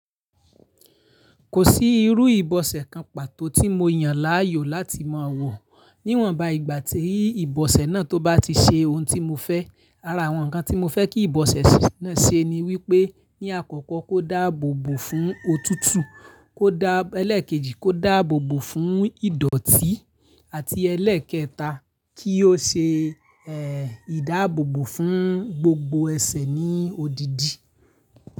Kò sí irú ìbọ̀sẹ̀ kan pàtó tí mo yàn láàyò láti mọ̀ wọ̀. Níwọ̀n bá ìgbà ti ibọ̀sẹ̀ náà tó bá ti ṣe ohun tí mo fẹ́. Ara àwọn nkan tí mo fẹ́ kí ìbọ̀sẹ̀ náà ṣe ni wípé; ní àkọ́kọ́ kó dáàbòbò fún òtútù, kó dá ẹlẹ́ẹ̀kejì kó dáàbòbò fún ìdọ̀tí àti ẹlẹ́ẹ̀kẹta kí ó ṣe ìdáàbòbò fún gbogbo ẹsẹ̀ ní odidi.